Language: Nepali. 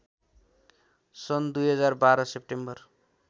सन् २०१२ सेप्टेम्बर